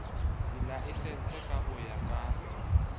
dilaesense ka ho ya ka